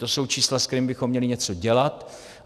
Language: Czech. To jsou čísla, se kterými bychom měli něco dělat.